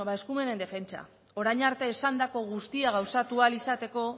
bueno ba eskumen defentsa orain arte esandako guztia gauzatu ahal izateko